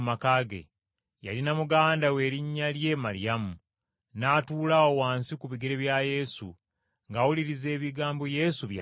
Yalina muganda we erinnya lye Maliyamu. N’atuula awo wansi ku bigere bya Yesu, ng’awuliriza ebigambo Yesu bye yali ayogera.